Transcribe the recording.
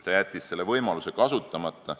Ta jättis selle võimaluse kasutamata.